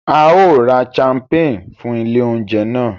A yóò rà champagne fún ilé oúnjẹ náà